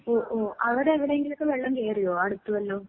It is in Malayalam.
ഓ ഓ. അവടെ എവടേങ്കിലൊക്കെ വെള്ളം കേറിയോ, അടുത്ത് വല്ലോം?